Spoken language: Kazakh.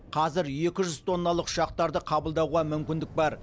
қазір екі жүз тонналық ұшақтарды қабылдауға мүмкіндік бар